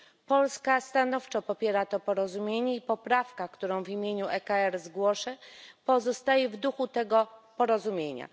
Polska stanowczo popiera to porozumienie i poprawka, którą w imieniu EKR zgłoszę, pozostaje w duchu tego porozumienia.